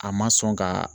A ma sɔn ka